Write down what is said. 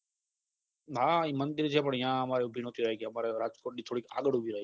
હા એ મંદિર છે જને પણ યા અમાર સુધી નથી આયીગ્યા અમાર રાજકોટથી થોડીક આગળ ઉભી રાખીતી